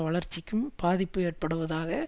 வளர்ச்சிக்கும் பாதிப்பு ஏற்படுத்துவதாக